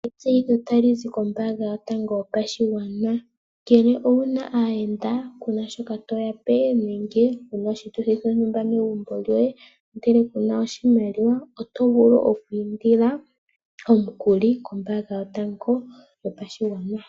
Etseyitho talizi kombaanga yotango yopashigwana. Ngele owuna aayenda kuna shoka toyape nenge wuna oshituthi shontumba megumbo lyoye ndele kuna oshimaliwa otovulu oku indila omukuli kombaanga yotango yopashigwana